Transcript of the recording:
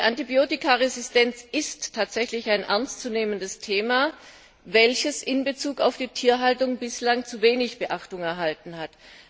Die Antibiotikaresistenz ist tatsächlich ein ernstzunehmendes Thema, welches in Bezug auf die Tierhaltung bislang zu wenig Beachtung erhalten hat.